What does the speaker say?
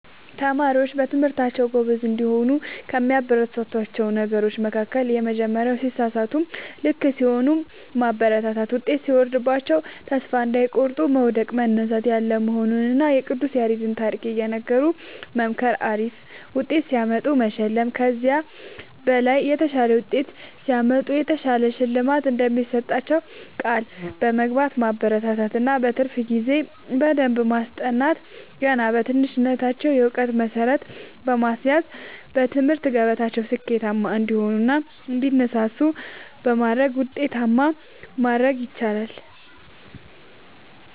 ተማሪዎች በትምህርታቸዉ ጎበዝ እንዲሆኑ ከሚያበረታቷቸዉ ነገሮች መካከል:- የመጀመሪያዉ ሲሳሳቱም ልክ ሲሆኑም ማበረታታት ዉጤት ሲወርድባቸዉም ተስፋ እንዳይቆርጡ መዉደቅ መነሳት ያለ መሆኑንና የቅዱስ ያሬድን ታሪክ እየነገሩ መምከር አሪፍ ዉጤት ሲያመጡ መሸለም ከዚህ በላይ የተሻለ ዉጤት ሲያመጡ የተሻለ ሽልማት እንደሚሰጧቸዉ ቃል በመግባት ማበረታታት እና በትርፍ ጊዜ በደንብ በማስጠናት ገና በትንሽነታቸዉ የእዉቀት መሠረት በማስያዝ በትምህርት ገበታቸዉ ስኬታማ እንዲሆኑ እና እንዲነሳሱ በማድረግ ዉጤታማ ማድረግ ይቻላል።